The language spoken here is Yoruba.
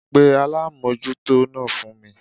Pe alámójútó náà fún mi